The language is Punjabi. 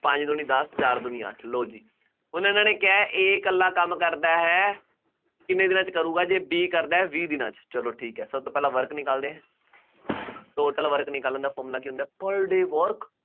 ਪੰਜ ਦੂਣੀ ਦੱਸ, ਚਾਰ ਦੂਣੀ ਅੱਠ, ਲਉ ਜੀ, ਹੁਣ ਉਹਨਾ ਨੇ ਕਿਹਾ A ਇਕੱਲਾ ਕੰਮ ਕਰਦਾ ਹੈ, ਕਿੰਨੇ ਦਿਨਾਂ ਚ ਕਰੂਗਾ, ਜੇ B ਕਰਦਾ ਹੈ, ਵੀਹ ਦਿਨਾਂ ਚ, ਚੱਲੋ ਠੀਕ ਹੈ, ਸਭ ਤੋਂ ਪਹਿਲਾਂ work ਨਿਕਾਲਦੇ ਹਾਂ, total work ਨਿਕਾਲਣ ਦਾ formula ਕੀ ਹੁੰਦਾ ਹੈ per day work